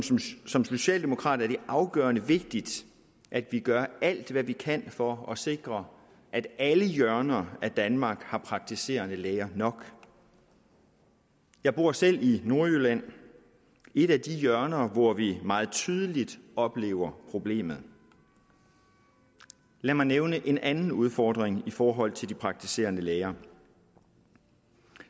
som socialdemokrat er det afgørende vigtigt at vi gør alt hvad vi kan for at sikre at alle hjørner af danmark har praktiserende læger nok jeg bor selv i nordjylland et af de hjørner hvor vi meget tydeligt oplever problemet lad mig nævne en anden udfordring i forhold til de praktiserende læger